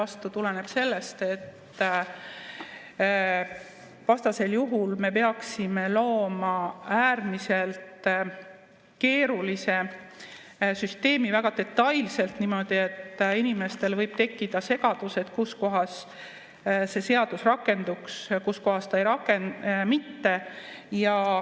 See tuleneb sellest, et vastasel juhul me peaksime looma äärmiselt keerulise süsteemi, väga detailse süsteemi, ja inimestel võib tekkida segadus, et kus kohas see seadus rakenduks, kus kohas mitte.